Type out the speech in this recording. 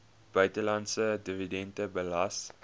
buitelandse dividende belas